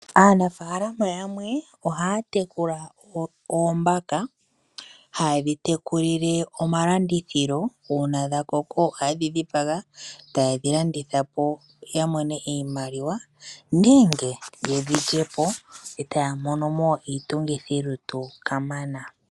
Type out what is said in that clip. Aanafalama yamwe oha ya tekula oombaka ha ye dhi tekulile omalandithilo. Una dha koka oha ye dhi dhipaga, taye dhi landithe po ya mone iimaliwa nenge ye dhi lye po eta ya mone mo iitungithilutu ka mana.